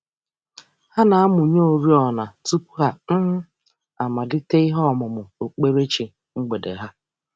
Ha na-amụnye oriọna tụpụ ha um amalite ihe ọmụmụ okpukperechi mgbede ha.